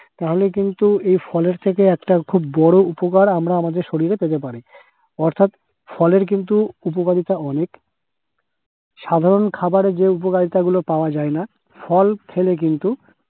নাহলে কিন্তু এই ফলের থেকে একটা বড় উপকার আমরা আমাদের শরীরে পেতে পারি অর্থাৎ ফলের কিন্তু উপকারিতা অনেক সাধারণ খাবারে যে উপকারিতা গুলো পাওয়া যায় না, ফল খেলে কিন্তু